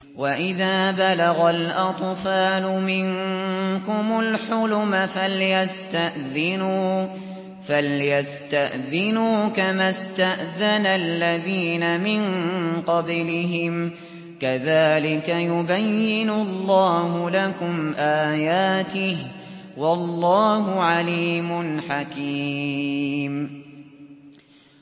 وَإِذَا بَلَغَ الْأَطْفَالُ مِنكُمُ الْحُلُمَ فَلْيَسْتَأْذِنُوا كَمَا اسْتَأْذَنَ الَّذِينَ مِن قَبْلِهِمْ ۚ كَذَٰلِكَ يُبَيِّنُ اللَّهُ لَكُمْ آيَاتِهِ ۗ وَاللَّهُ عَلِيمٌ حَكِيمٌ